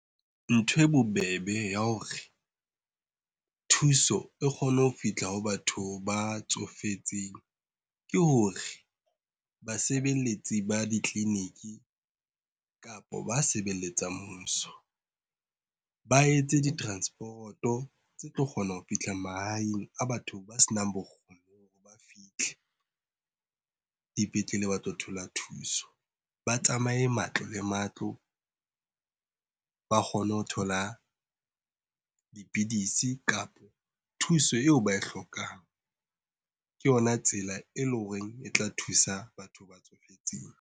Ntho e bobebe ya hore thuso e kgone ho fihla ho batho ba tsofetseng ke hore basebeletsi ba ditleliniki, kapa ba sebeletsang mmuso. Ba etse di transporoto tse tlo kgona ho fihla mahaeng a batho ba senang bokgoni ba fihle dipetlele ba tlo thola thuso. Ba tsamaye matlo le matlo ba kgone ho thola dipidisi, kapa thuso eo ba e hlokang. Ke yona tsela e leng horeng e tla thusa batho ba tsofetseng.